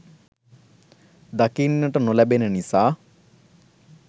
දකින්නට නොලැබෙන නිසා.